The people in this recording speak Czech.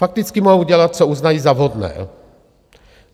Fakticky mohou udělat, co uznají za vhodné.